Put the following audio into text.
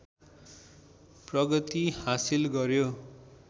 प्रगति हासिल गर्‍यो